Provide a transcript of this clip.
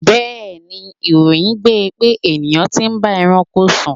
Bẹẹni, ìròyìn gbe pé ènìyàn tí ń bá ẹranko sùn.